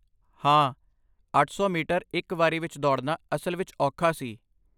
ਹਾਂ, ਅੱਠ ਸੌ ਮੀਟਰ ਇੱਕ ਵਾਰੀ ਵਿੱਚ ਦੌੜਨਾ ਅਸਲ ਵਿੱਚ ਔਖਾ ਸੀ